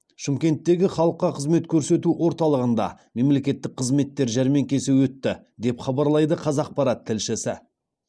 шымкенттегі халыққа қызмет көрсету орталығында мемлекеттік қызметтер жәрмеңкесі өтті деп хабарлайды қазақпарат тілшісі